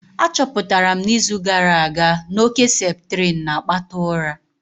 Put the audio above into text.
Achọpụtara m n'izu gara aga na oke septrin na-akpata ụra